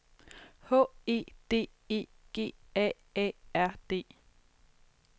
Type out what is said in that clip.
H E D E G A A R D